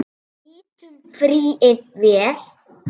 Við nýttum fríið vel.